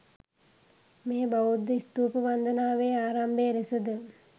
මෙය බෞද්ධ ස්තූප වන්දනාවේ ආරම්භය ලෙසද